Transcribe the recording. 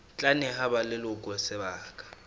tla neha ba leloko sebaka